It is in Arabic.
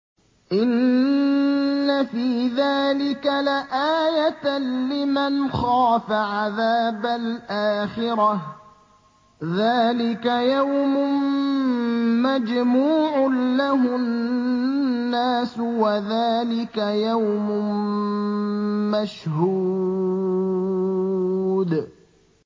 إِنَّ فِي ذَٰلِكَ لَآيَةً لِّمَنْ خَافَ عَذَابَ الْآخِرَةِ ۚ ذَٰلِكَ يَوْمٌ مَّجْمُوعٌ لَّهُ النَّاسُ وَذَٰلِكَ يَوْمٌ مَّشْهُودٌ